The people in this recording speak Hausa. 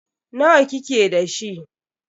Nawa kike da shi?